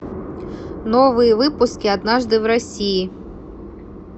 новые выпуски однажды в россии